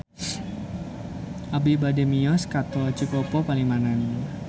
Abi bade mios ka Tol Cikopo Palimanan